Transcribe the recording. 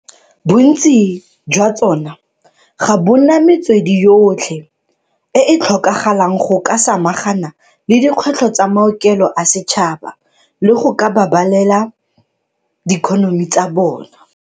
Bontsi jwa tsona ga bona metswedi yotlhe e e tlhokagalang go ka samagana le dikgwetlho tsa maokelo a setšhaba le go ka babalela diikonomi tsa tsona.